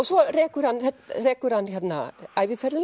svo rekur hann rekur hann